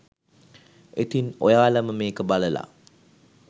ඉතින් ඔයාලම මේක බලල